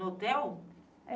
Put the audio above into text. No hotel?